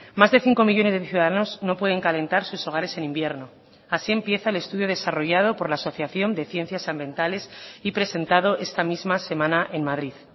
más de cinco millónes de ciudadanos no pueden calentar sus hogares en invierno así empieza el estudio desarrollado por la asociación de ciencias ambientales y presentado esta misma semana en madrid